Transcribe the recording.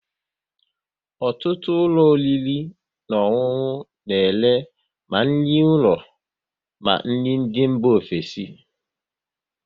Ọtụtụ ụlọ oriri na ọṅụnụ na ere ma nri ụlọ ma nri ndị mba ofesi